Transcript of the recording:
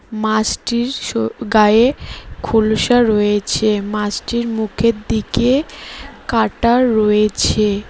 মাছটির সো গায়ে খোলসা রয়েছে মাছটির মুখের দিকে কাঁটা রয়েছে।